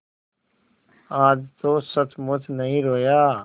आज तो सचमुच नहीं रोया